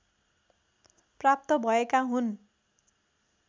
प्राप्त भएका हुन्